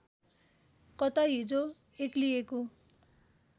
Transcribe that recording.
कता हिजो एक्लिएको